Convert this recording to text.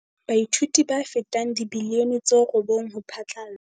Baithuti ba fetang dimilione tse robong ho phatlalla